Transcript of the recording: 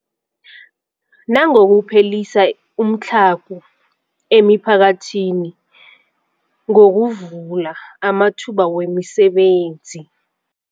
Nangokuphelisa umtlhago emiphakathini ngokuvula amathuba wemisebenzi.